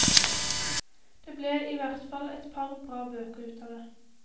Det ble i hvert fall et par bra bøker ut av det.